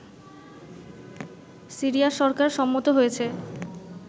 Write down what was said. Syria সরকার সম্মত হয়েছে